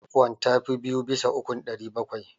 651 ta fi biyu bisa ukun 700.